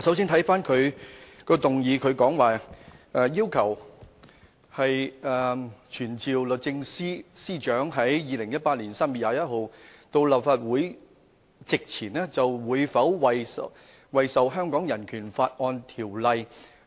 首先，他的議案要求"傳召律政司司長於2018年3月21日到立法會席前，就會否為受《香港人權法案條例》